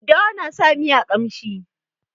Daddawa na sa miya ƙamshi.